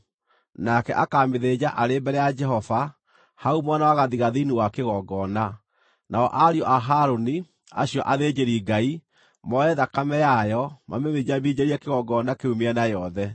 Nake akaamĩthĩnja arĩ mbere ya Jehova, hau mwena wa gathigathini wa kĩgongona, nao ariũ a Harũni, acio athĩnjĩri-Ngai, moe thakame yayo, mamĩminjaminjĩrie kĩgongona kĩu mĩena yothe.